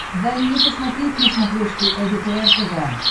дай мне посмотреть на смотрешке лдпр тв